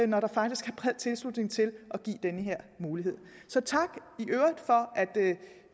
når der faktisk er bred tilslutning til at give den her mulighed så tak